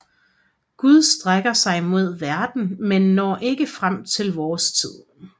Gud strækker sig mod verden men når ikke frem til vores tid